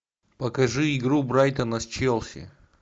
покажи игру брайтона с челси